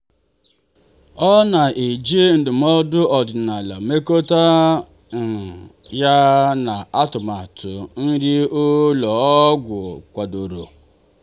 ọ na-eji ndụmọdụ ọdịnala mekọtaa ya na-atụmatụ nri ụlọ ọgwụ kwadoro.